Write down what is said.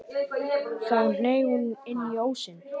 Þá hneig hún inn í ósinn.